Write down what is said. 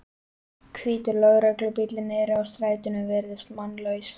Hvítur lögreglubíllinn niðri á stæðinu virðist mannlaus.